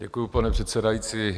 Děkuji, pane předsedající.